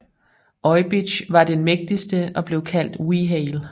Oibich var den mægtigste og blev kaldt Wehale